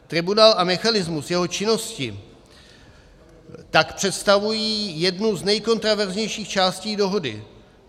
Tribunál a mechanismus jeho činnosti tak představují jednu z nejkontroverznějších části dohody.